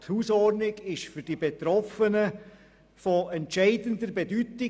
Die Hausordnung ist für die Betroffenen von entscheidender Bedeutung.